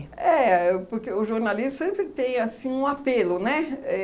Éh, porque o jornalismo sempre tem, assim, um apelo, né?